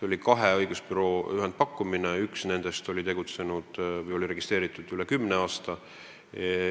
Võitjaks osutunud ühendpakkumise tegid kaks õigusbürood, kellest üks oli tegutsenud ja registreeritud üle kümne aasta.